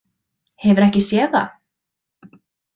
Hefurðu ekki séð það?